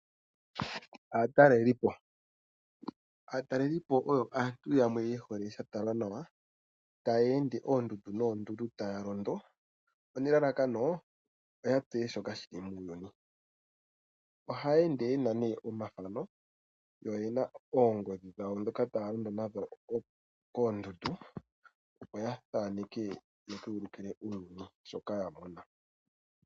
Aatalelipo oyo aantu yamwe ye hole sha talwa nawa, taya ende oondundu noondundu taya londo, nelalakano oya tseye shoka shili muuyuni. Ohaya ende yena nee omathano, yo oyena oongodhi dhawo dhoka taya ende nadho koondundu, opo ya thaneke, ya ka ulikile uuyuni shoka ya mona.